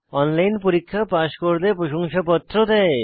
online পরীক্ষা pass করলে প্রশংসাপত্র দেয়